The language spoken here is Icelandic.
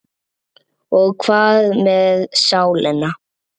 Og hvað með sálina?